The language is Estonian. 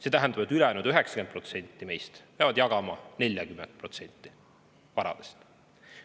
See tähendab, et ülejäänud 90% meist peavad jagama 40% varadest.